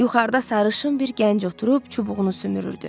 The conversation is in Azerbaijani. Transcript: Yuxarıda sarışın bir gənc oturub çubuğunu sümürürdü.